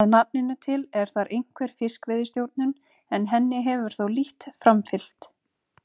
Að nafninu til er þar einhver fiskveiðistjórnun en henni hefur þó lítt framfylgt.